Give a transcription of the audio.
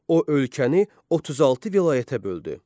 O ölkəni 36 vilayətə böldü.